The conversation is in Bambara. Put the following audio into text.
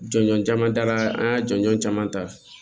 Jɔnjɔn caman dala an y'a jɔnjɔn caman ta